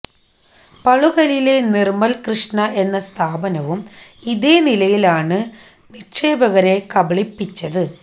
പളുകലിലെ നിർമൽ കൃഷ്ണ എന്ന സ്ഥാപനവും ഇതേനിലയിലാണ് നിക്ഷേപകരെ കബളിപ്പിച്ചത്